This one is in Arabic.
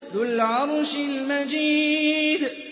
ذُو الْعَرْشِ الْمَجِيدُ